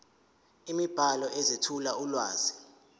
imibhalo ezethula ulwazi